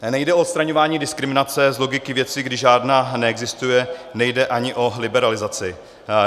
Nejde o odstraňování diskriminace z logiky věci, když žádná neexistuje, nejde ani o liberalizaci.